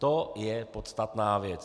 To je podstatná věc.